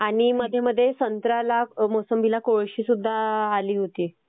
आणि मध्ये मध्ये संत्र्याला मोसंबीला कोळशी सुद्धा आली होती.